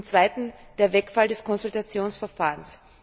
Zweitens Der Wegfall des Konsultationsverfahrens.